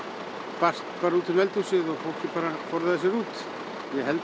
barst út um eldhúsið og fólkið forðaði sér út ég held að